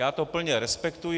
Já to plně respektuji.